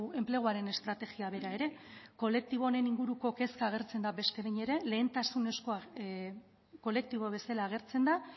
enpleguaren estrategia bera ere kolektibo honen inguruko kezka agertzen da beste behin ere lehentasunezkoa kolektibo bezala agertzen da